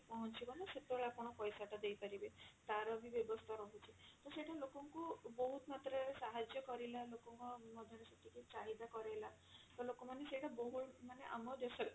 ପହଞ୍ଚିବ ନା ସେତେବେଳେ ଆପଣ ପଇସା ଟା ଦେଇପାରିବେ ତାର ବି ବ୍ୟବସ୍ଥା ରହୁଛି ତ ସେଟା ଲୋକ ଙ୍କୁ ବହୁତ ମାତ୍ରା ରେ ସାହାର୍ଯ୍ୟ କରିଲା ଲୋକଙ୍କ ମଧ୍ୟ ରେ ସେତିକି ଚାହିଦା କରେଇଲା ତ ଲୋକ ମାନେ ସେଟା ବହୁଳ ମାନେ ଆମ ଦେଶ ରେ